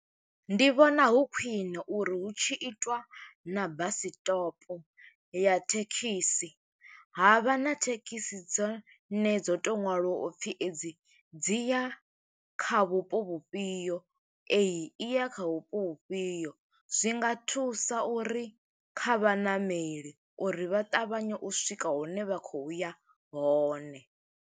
Ndi vhona hu khwiṋe, uri hu tshi itwa na bus stop ya thekhisi, ha vha na thekhisi dzo ne dzo to ṅwaliwa u pfi edzi dzi ya kha vhupo vhufhio, eyi i ya kha vhupo vhufhio. Zwinga thusa uri kha vhaṋameli uri vha ṱavhanye u swika hune vha khou ya hone.